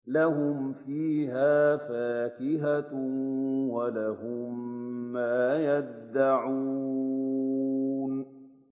لَهُمْ فِيهَا فَاكِهَةٌ وَلَهُم مَّا يَدَّعُونَ